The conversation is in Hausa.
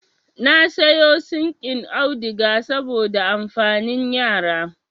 Na sayo sinƙin auduga saboda amfanin yara